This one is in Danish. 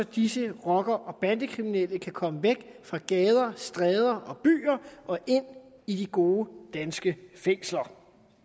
disse rocker og bandekriminelle kan komme væk fra gader stræder og byer og ind i de gode danske fængsler